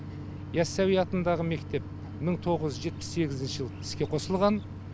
яссауи атындағы мектеп мың тоғыз жүз жетпіс сегізінші жылы іске қосылған